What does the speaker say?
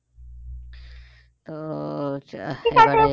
তো